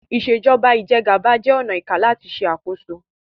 Ìṣèjọba Ìjẹgàba jẹ ọnà ìká làti ṣe àkóso